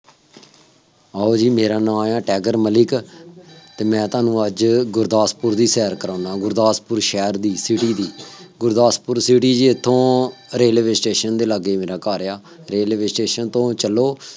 ਆਉ ਜੀ ਮੇਰਾ ਨਾਮ ਹੈ ਟਾਈਗਰ ਮਲਿਕ ਅਤੇ ਮੈਂ ਤੁਹਾਨੂੰ ਅੱਜ ਗੁਰਦਾਸਪੁਰ ਦੀ ਸੈਰ ਕਰਾਉਂਦਾ, ਗੁਰਦਾਸਪੁਰ ਸ਼ਹਿਰ ਦੀ, city ਦੀ, ਗੁਰਦਾਸਪੁਰ city ਜੀ ਇੱਥੋਂ ਰੇਲਵੇ ਸਟੇਸ਼ਨ ਦੇ ਲਾਗੇ, ਮੇਰਾ ਘਰ ਹੈ, ਰੇਲਵੇ ਸਟੇਸ਼ਨ ਤੋਂ ਚੱਲੋ,